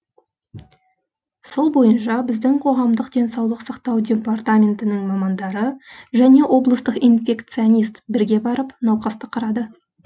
сол бойынша біздің қоғамдық денсаулық сақтау департаментінің мамандары және облыстық инфекционист бірге барып науқасты қарады